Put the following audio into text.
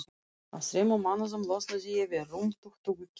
Á þremur mánuðum losnaði ég við rúm tuttugu kíló.